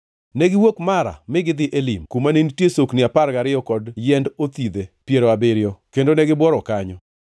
Negiwuok Mara mi gidhi Elim, kuma ne nitie sokni apar gariyo kod yiend othidhe piero abiriyo, kendo negibuoro kanyo.